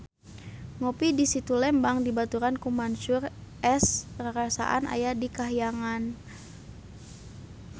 Ngopi di Situ Lembang dibaturan ku Mansyur S rarasaan aya di kahyangan